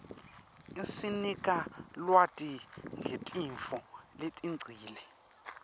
isinika lwati ngetintfo letengcile